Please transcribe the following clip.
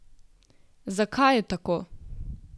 Zakaj je tako?